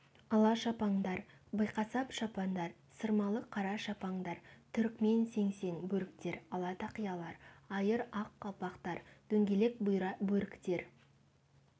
ала шапандар биқасап шапандар сырмалы қара шапандар түрікмен сеңсең бөріктер ала тақиялар айыр ақ қалпақтар дөңгелек бұйра бөріктер